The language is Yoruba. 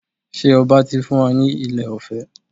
Ṣe ọba ti fún wa ní ilẹ̀ ọ̀fẹ́?